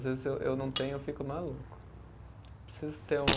Às vezes eu eu não tenho, eu fico maluco. Preciso ter um